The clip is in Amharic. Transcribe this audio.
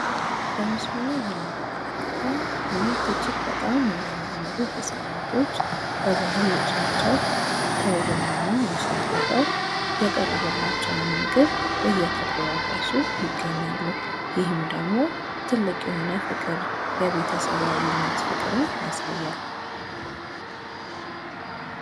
በምስሉ ላይ የምንመለከተው ሁለት አጅግ የሚያምሩ ህፃናት የባልህል ልብስ ልብሰው አየተጎራረሱ አናም በመካከላቸው ያለውን ፍቅርና መተሳስተብ የሚያሳይ ምሰል ነው።